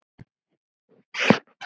Hvað er nú það?